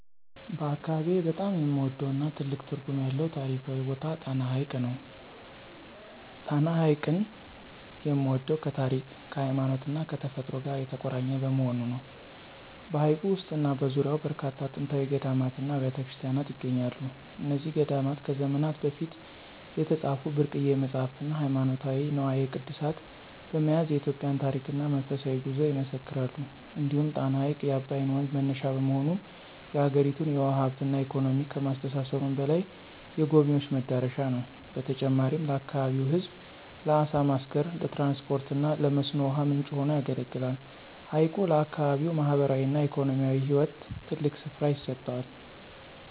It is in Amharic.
በአካባቢዬ በጣም የምወደውና ትልቅ ትርጉም ያለው ታሪካዊ ቦታ ጣና ሐይቅ ነው። ጣና ሐይቅን የምወደው ከታሪክ፣ ከሃይማኖትና ከተፈጥሮ ጋር የተቆራኘ በመሆኑ ነው። በሐይቁ ውስጥና በዙሪያው በርካታ ጥንታዊ ገዳማትና አብያተ ክርስቲያናት ይገኛሉ። እነዚህ ገዳማት ከዘመናት በፊት የተጻፉ ብርቅዬ መጻሕፍትና ሃይማኖታዊ ንዋየ ቅድሳት በመያዝ የኢትዮጵያን ታሪክና መንፈሳዊ ጉዞ ይመሰክራሉ። እንዲሁም ጣና ሐይቅ የአባይ ወንዝ መነሻ በመሆኑ፣ የአገሪቱን የውሃ ሀብትና ኢኮኖሚ ከማስተሳሰሩም በላይ፣ የጎብኝዎች መዳረሻ ነው። በተጨማሪም ለአካባቢው ሕዝብ ለዓሣ ማስገር፣ ለትራንስፖርትና ለመስኖ ውሃ ምንጭ ሆኖ ያገለግላል። ሐይቁ ለአካባቢው ማኅበራዊና ኢኮኖሚያዊ ሕይወት ትልቅ ስፍራ ይሰጠዋል።